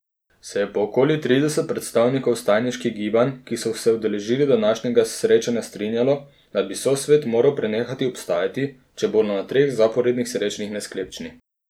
Se je pa okoli trideset predstavnikov vstajniških gibanj, ki so se udeležili današnjega srečanja, strinjalo, da bi sosvet moral prenehati obstajati, če bodo na treh zaporednih srečanjih nesklepčni.